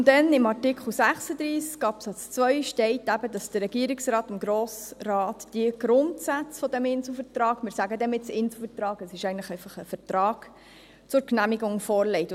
Nun denn, in Artikel 36 Absatz 2 steht, dass der Regierungsrat dem Grossen Rat die Grundsätze des Inselvertrags – wir nennen diesen «Inselvertrag», obwohl es eigentlich einfach ein Vertrag ist – zur Genehmigung vorlegt.